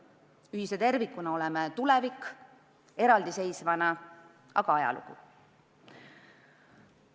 Ühise tervikuna oleme tulevik, eraldiseisvana aga ajalugu.